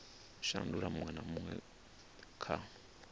shandula huṅwe na huṅwe kha